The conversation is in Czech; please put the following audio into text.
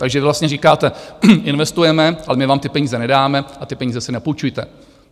Takže vy vlastně říkáte, investujeme, ale my vám ty peníze nedáme a ty peníze si napůjčujte.